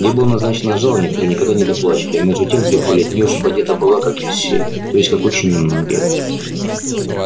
ей было назначено жалованье которое никогда не доплачивали а между тем требовали от нее чтоб она одета была как и все то есть как очень немногие